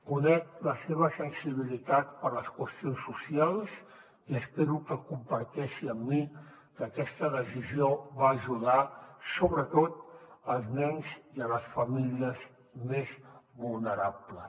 conec la seva sensibilitat per les qüestions socials i espero que comparteixi amb mi que aquesta decisió va ajudar sobretot els nens i les famílies més vulnerables